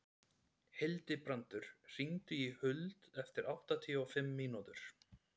Hildibrandur, hringdu í Huld eftir áttatíu og fimm mínútur.